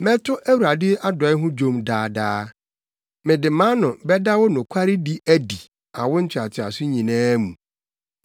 Mɛto Awurade adɔe ho dwom daa daa; mede mʼano bɛda wo nokwaredi adi awo ntoatoaso nyinaa mu.